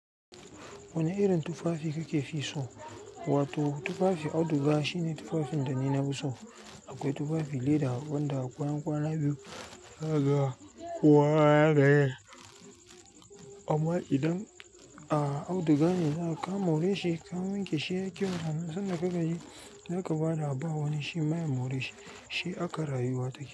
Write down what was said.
Wane irin tufafi kake fi so? Wato tufafi auduga shine tufafin da ni nafi so. Akwai tufafi leda wanda bayan kwana biyu zakaga kuwa haka. Amma idan a auduga ne za ka more shi, ka wanke shi yayi ƙyau. Nan san da kaga ji, zaka ba da abawani shi ma ya more shi, shi aka rayuwa take.